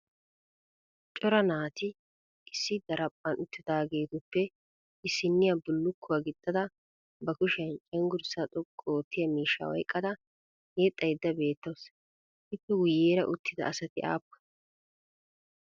cora naati issi daraphphan uttidaageetuppe issiniya bullukuwa gixxada ba kushiya cenggurssa xoqqu oottiya miishsha oyqqada yexxaydda beettawus. ippe guyyeera uttida asati aappunee?